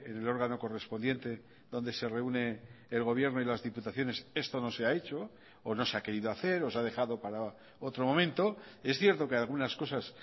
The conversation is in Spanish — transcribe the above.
el órgano correspondiente donde se reúne el gobierno y las diputaciones esto no se ha hecho o no se ha querido hacer o se ha dejado para otro momento es cierto que algunas cosas